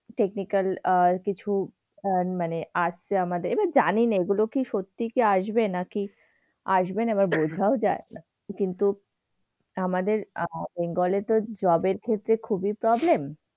technical আর কিছু আহ মানে আর যে আমদের, জানি নে এগুলো কি সত্যি কি আসবে নাকি আসবে না আবার বোঝাও যায় না। কিন্তু আমাদের আহ বেঙ্গলে তো job এর ক্ষেত্রে খুবই problem